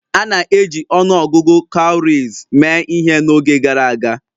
A na-eji ọnụ ọgụgụ cowries mee ihe n'oge gara aga.